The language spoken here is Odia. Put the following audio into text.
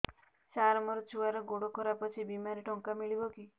ସାର ମୋର ଛୁଆର ଗୋଡ ଖରାପ ଅଛି ବିମାରେ ଟଙ୍କା ମିଳିବ କି